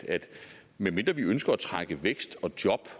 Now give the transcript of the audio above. medmindre vi ønsker at trække vækst og job